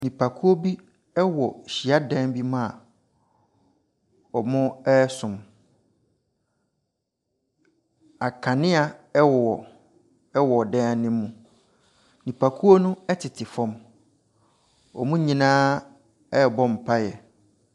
Nnipakuo bi wɔ hyiadan bi mu a, wɔresom nkanea wɔ dan ne mu, nnipakuo no tete fam. Wɔn nyinaa ɛrebɔ mpaaeɛ.